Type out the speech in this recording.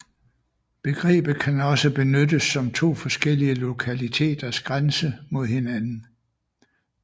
Begrebet kan også benyttes som to forskellige lokaliteters grænse mod hinanden